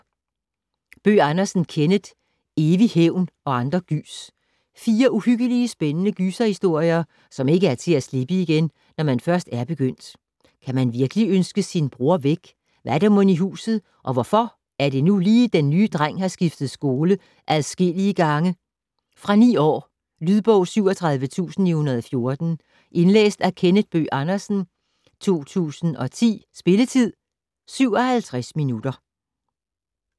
Bøgh Andersen, Kenneth: Evig hævn og andre gys Fire uhyggelige, spændende gyserhistorier, som ikke er til at slippe igen, når man først er begyndt. Kan man virkelig ønske sin bror væk, hvad er der mon i huset og hvorfor er det nu lige at den nye dreng har skiftet skole adskillige gange. Fra 9 år. Lydbog 37914 Indlæst af Kenneth Bøgh Andersen, 2010. Spilletid: 0 timer, 57 minutter.